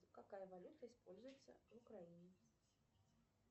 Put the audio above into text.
какая валюта используется в украине